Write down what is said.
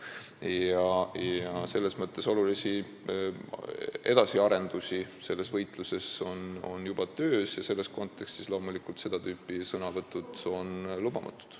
Nii et selles võitluses on juba olulisi edasiarendusi tehtud ja selles kontekstis on seda tüüpi sõnavõtud loomulikult lubamatud.